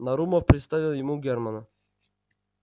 нарумов представил ему германна